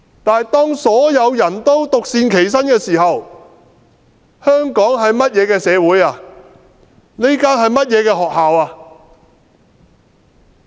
但是，當所有人也獨善其身時，香港會是個怎樣的社會，這所會是怎樣的學校？